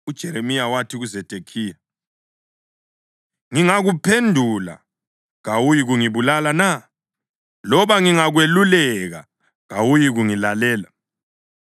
UJeremiya wathi kuZedekhiya, “Ngingakuphendula kawuyikungibulala na? Loba ngingakweluleka, kawuyikungilalela.”